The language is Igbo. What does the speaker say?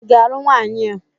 ị ga-alụ nwaanyị a?